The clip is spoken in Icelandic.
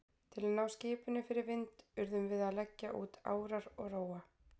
Til að ná skipinu fyrir vind urðum við að leggja út árar og róa.